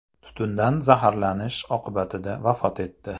tutundan zaharlanish oqibatida vafot etdi.